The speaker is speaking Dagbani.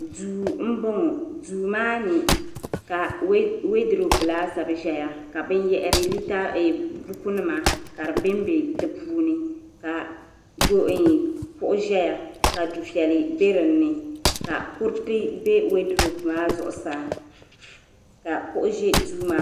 duu n bɔŋɔ duu maa ni ka weedirop laasabu ʒɛya ka buku nima ka di bɛnbɛ di puuni ka kuɣu ʒɛya ka dufɛli bɛ dinni ka kuriti bɛ weedirop maa zuɣu zaa ka kuɣu ʒi duu maa ni